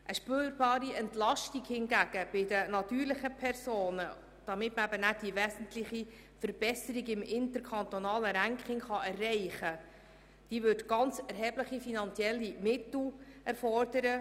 Eine spürbare Entlastung der natürlichen Personen hingegen mit dem Ziel, eine wesentliche Verbesserung im interkantonalen Ranking zu erreichen, würde erhebliche finanzielle Mittel erfordern.